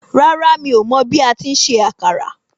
Rárá mi o mọ bi ati ń se àkàrà